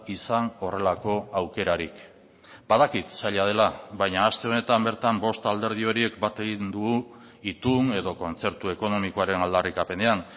izan horrelako aukerarik badakit zaila dela baina aste honetan bertan bost alderdi horiek bat egin dugu itun edo kontzertu ekonomikoaren aldarrikapenean